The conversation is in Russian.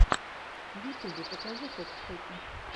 в ютьюбе покажи фокс хоки